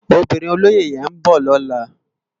Óbirin ólóyé yèn n bò lòlá